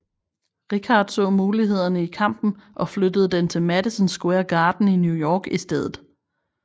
Rickard så mulighederne i kampen og flyttede den til Madison Square Garden i New York i stedet